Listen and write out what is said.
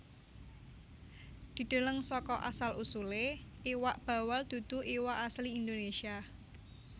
Dideleng saka asal usulé Iwak bawal dudu iwak asli Indonesia